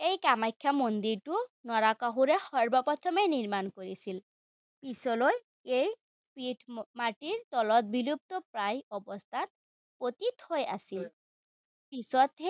এই কামাখ্যা মন্দিৰটো নৰকাসুৰে সৰ্বপ্ৰথমে নিৰ্মাণ কৰিছিল। পিছলৈ এই পীঠ মাটিৰ তলত বিলুপ্তপ্ৰায় অৱস্থাত পতিতহৈ আছিল। পিছতহে